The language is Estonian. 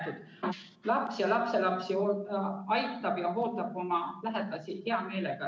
Kuigi laps või lapselaps aitab ja hooldab oma lähedasi hea meelega.